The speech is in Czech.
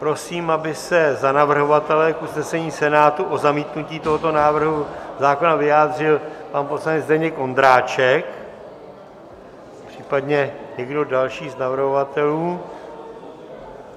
Prosím, aby se za navrhovatele k usnesení Senátu o zamítnutí tohoto návrhu zákona vyjádřil pan poslanec Zdeněk Ondráček, případně někdo další z navrhovatelů.